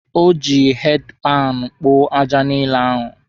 O ji heedi panụ kpoo aja niile ahụ.